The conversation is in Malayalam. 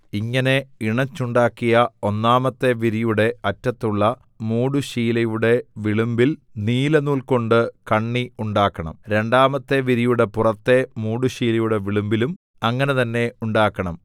ഇങ്ങനെ ഇണച്ചുണ്ടാക്കിയ ഒന്നാമത്തെ വിരിയുടെ അറ്റത്തുള്ള മൂടുശീലയുടെ വിളുമ്പിൽ നീലനൂൽകൊണ്ട് കണ്ണി ഉണ്ടാക്കണം രണ്ടാമത്തെ വിരിയുടെ പുറത്തെ മൂടുശീലയുടെ വിളുമ്പിലും അങ്ങനെ തന്നെ ഉണ്ടാക്കണം